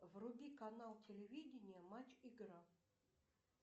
вруби канал телевидения матч игра